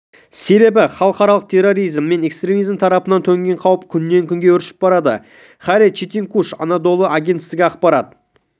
себебі халықаралық терроризм мен экстремизм тарапынан төнген қауіп күннен-күнге өршіп барады хайри четинкуш анадолы агенттігі ақпарат